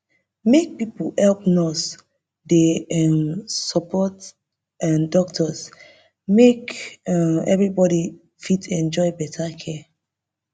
make pipo help nurse dey um support um doctors make um everybody fit enjoy better care